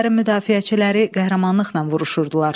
Şəhərin müdafiəçiləri qəhrəmanlıqla vuruşurdular.